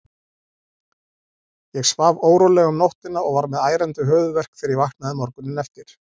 Ég svaf órólega um nóttina og var með ærandi höfuðverk þegar ég vaknaði morguninn eftir.